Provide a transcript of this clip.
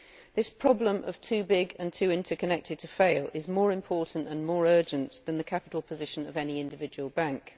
This problem of too big and too interconnected to fail' is more important and more urgent than the capital position of any individual bank.